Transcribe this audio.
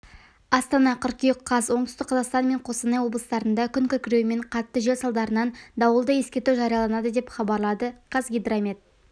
астана қыркүйек қаз оңтүстік қазақстан мен қостанай облыстарында күн күркіреуі мен қатты жел салдарынан дауылды ескерту жарияланды деп хабарлады қазгидромет